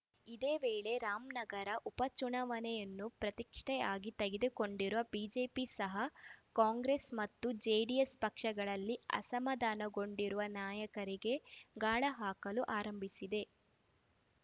ಇದೇವೇಳೆ ರಾಮನಗರ ಉಪಚುನಾವಣೆಯನ್ನು ಪ್ರತಿಷ್ಠೆಯಾಗಿ ತೆಗೆದುಕೊಂಡಿರುವ ಬಿಜೆಪಿ ಸಹ ಕಾಂಗ್ರೆಸ್‌ ಮತ್ತು ಜೆಡಿಎಸ್‌ ಪಕ್ಷಗಳಲ್ಲಿ ಅಸಮಾಧಾನಗೊಂಡಿರುವ ನಾಯಕರಿಗೆ ಗಾಳ ಹಾಕಲು ಆರಂಭಿಸಿದೆ